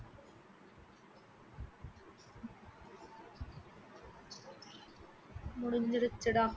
முடிஞ்சிடுச்சுடா